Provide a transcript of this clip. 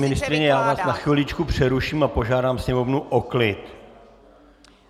Paní ministryně, já vás na chviličku přeruším a požádám Sněmovnu o klid.